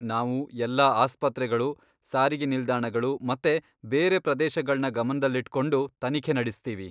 ನಾವು ಎಲ್ಲಾ ಆಸ್ಪತ್ರೆಗಳು, ಸಾರಿಗೆ ನಿಲ್ದಾಣಗಳು ಮತ್ತೆ ಬೇರೆ ಪ್ರದೇಶಗಳ್ನ ಗಮನ್ದಲ್ಲಿಟ್ಕೊಂಡು ತನಿಖೆ ನಡೆಸ್ತೀವಿ.